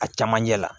A camancɛ la